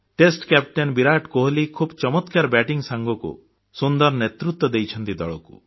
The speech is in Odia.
ଟେଷ୍ଟ କ୍ୟାପଟେନ୍ ବିରାଟ କୋହଲି ଖୁବ୍ ଚମତ୍କାର ବ୍ୟାଟିଂ ସାଙ୍ଗକୁ ସୁନ୍ଦର ନେତୃତ୍ୱ ଦେଇଛନ୍ତି ଦଳକୁ